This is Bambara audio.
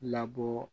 Labɔ